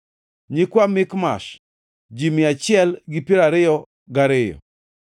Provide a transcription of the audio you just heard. nyikwa Mikmash, ji mia achiel gi piero ariyo gariyo (122),